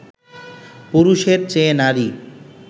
পুরুষের চেয়ে নারী